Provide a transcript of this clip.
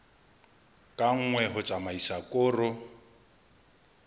ka nngwe ho tsamaisa koro